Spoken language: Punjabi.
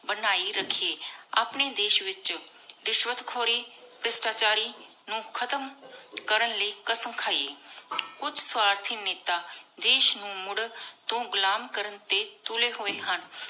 ਬਨਾਯੀ ਰਾਖਏ ਅਪਨੀ ਦੇਸ਼ ਵਿਚ ਰਿਸ਼ਵਤ ਖੋਰੀ ਭ੍ਰਿਸ਼ਟਾ ਚਾਰੀ ਨੂ ਖਤਮ ਕਰਨ ਲਾਏ ਕ਼ਾਸਮ ਖਾਏ ਕੁਛ ਸਵਾਠੀ ਨੇਤਾ ਦੇਸ਼ ਨੂ ਮੁਰ ਕੀ ਘੁਲਮ ਕਰਨ ਟੀ ਤੁਲੀ ਹੋਏ ਹਨ